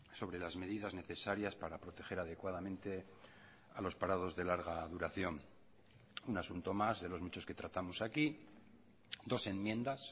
sobre las medidas necesarias para proteger adecuadamente a los parados de larga duración un asunto más de los muchos que tratamos aquí dos enmiendas